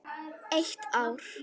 Eitt ár.